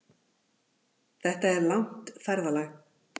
Þetta er langt ferðalag!